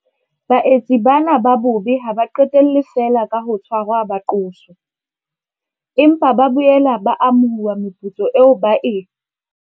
Baetsi bana ba bobe ha ba qetelle feela ka ho tshwarwa ba qoswe, empa ba boela ba amohuwa meputso eo ba e.